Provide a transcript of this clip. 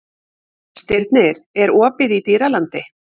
Stirnir, er opið í Dýralandi?